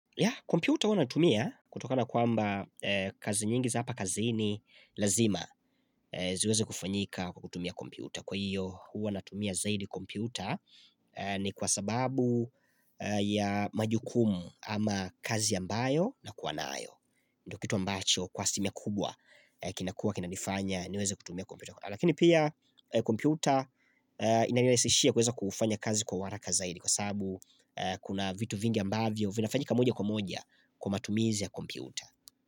Yeah, kompyuta hua natumia kutokana kwamba kazi nyingi za hapa kazi ni lazima ziweze kufanyika kutumia kompyuta. Kwa hiyo hua natumia zaidi kompyuta ni kwa sababu ya majukumu ama kazi ambayo na kwa naayo. Ndokitu ambacho kwa alisimia kubwa kinakua kinanifanya niweze kutumia kompyuta. Lakini pia kompyuta inanilesishia kuweza kufanya kazi kwa waraka zaidi Kwa sabu kuna vitu vingi ambavyo vinafanyika moja kwa moja kwa matumizi ya kompyuta.